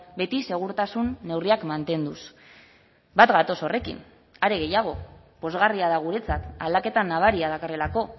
beti segurtasun neurriak mantenduz bat gatoz horrekin are gehiago pozgarria da guretzat aldaketa nabaria dakarrelako